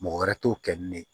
Mɔgɔ wɛrɛ t'o kɛ ni ne ye